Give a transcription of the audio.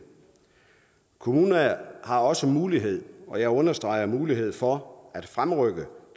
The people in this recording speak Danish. kommunerne har også mulighed og jeg understreger mulighed for at fremrykke